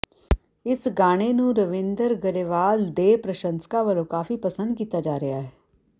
ਇਸ ਗਾਣੇ ਨੂੰ ਰਵਿੰਦਰ ਗਰੇਵਾਲ ਦੇ ਪ੍ਰਸ਼ੰਸਕਾਂ ਵੱਲੋਂ ਕਾਫੀ ਪਸੰਦ ਕੀਤਾ ਜਾ ਰਿਹਾ ਹੈ